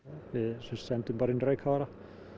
við sendum bara inn reykkafara